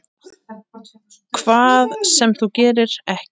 Hvað sem þú gerir, ekki.